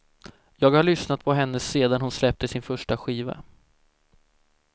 Jag har lyssnat på henne sedan hon släppte sin första skiva.